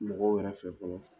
Mɔgɔw yɛrɛ fɛ fɔlɔ